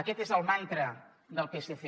aquest és el mantra del psc